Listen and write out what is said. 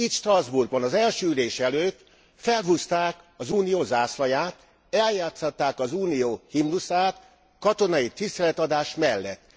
Itt Strasbourgban az első ülés előtt felhúzták az Unió zászlaját, eljátszották az Unió himnuszát katonai tiszteletadás mellett.